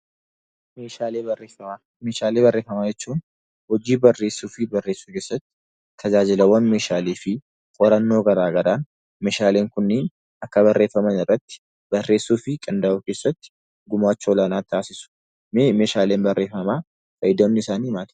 Meeshaalee barreeffamaa. Meeshaalee barreeffamaa jechuun hojii barreessuu fi barreessuu keessatti tajaajilawwan meeshaalee fi qorannoo garaa garaan meeshaaleen kunniin akka barreeffaman irratti barreessuu fi qindaa'uu keessatti gumaacha olaanaa taasisu. Mee meeshaaleen barreeffamaa fayyadamni isaanii maali?